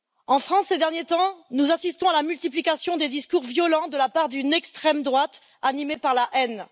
En France, ces derniers temps, nous assistons à la multiplication des discours violents de la part d'une extrême droite animée par la haine.